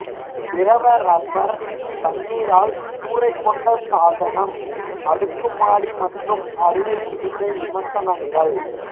திரவ ரப்பர் தண்ணீரால் கூரை கொண்ட சாதனம் அடுக்கு மாடி மற்றும் அறுவை சிகிச்சை விமர்சனங்கள்